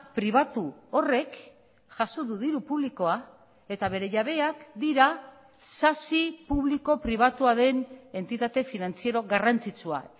pribatu horrek jaso du diru publikoa eta bere jabeak dira sasi publiko pribatua den entitate finantziero garrantzitsua